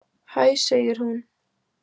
Hæ, segir hún.